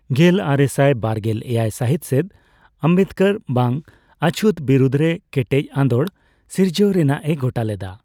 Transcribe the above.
ᱜᱮᱞᱟᱨᱮᱥᱟᱭ ᱵᱟᱨᱜᱮᱞ ᱮᱭᱟᱭ ᱥᱟᱦᱤᱛ ᱥᱮᱫ ᱟᱢᱵᱮᱫᱠᱚᱨ ᱵᱟᱝ ᱚᱪᱷᱩᱛ ᱵᱤᱨᱩᱫᱽ ᱨᱮ ᱠᱮᱴᱮᱡ ᱟᱸᱫᱳᱲ ᱥᱤᱨᱡᱟᱹᱣ ᱨᱮᱱᱟᱜ ᱮ ᱜᱚᱴᱟ ᱞᱮᱫᱟ ᱾